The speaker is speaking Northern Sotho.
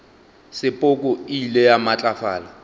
sepoko e ile ya matlafala